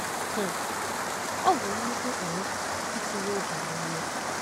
um Ọ bụ nnukwu um itinye oge na ume.